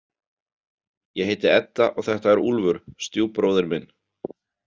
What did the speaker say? Ég heiti Edda og þetta er Úlfur, stjúpbróðir minn.